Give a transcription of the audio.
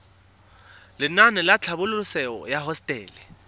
lenaane la tlhabololosewa ya hosetele